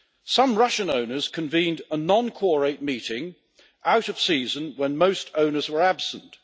Some Russian owners convened a non quorate meeting out of season when most owners were absent.